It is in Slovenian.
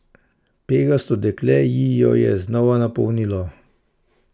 Pegasto dekle ji jo je znova napolnilo.